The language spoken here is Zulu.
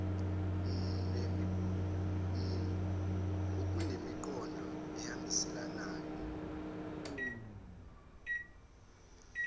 n okunemiqondo ehambisanayo